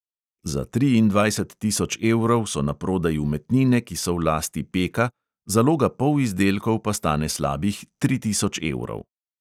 Za triindvajset tisoč evrov so naprodaj umetnine, ki so v lasti peka, zaloga polizdelkov pa stane slabih tri tisoč evrov.